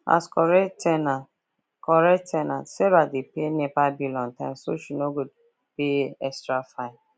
as correct ten ant correct ten ant sarah dey pay nepa bill on time so she no go pay extra fine